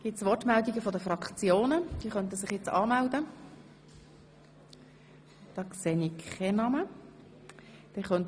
Gibt es Wortmeldungen seitens der Fraktionen oder von einzelnen Ratsmitgliedern?